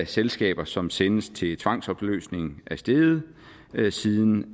selskaber som sendes til tvangsopløsning er steget siden